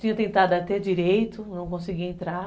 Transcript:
Tinha tentado até direito, não conseguia entrar